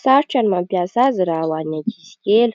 sarotra ny mampiasa azy raha ho any ankizy kely.